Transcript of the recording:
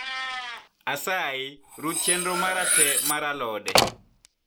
asyi ruch chenro mar te mar alode